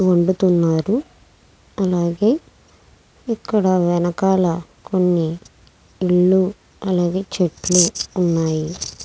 వండుతున్నారు. అలాగే ఇక్కడ వెనకాల ఇల్లు అలాగే చెట్లు ఉన్నాయి.